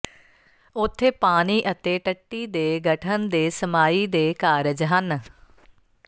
ਉੱਥੇ ਪਾਣੀ ਅਤੇ ਟੱਟੀ ਦੇ ਗਠਨ ਦੇ ਸਮਾਈ ਦੇ ਕਾਰਜ ਹਨ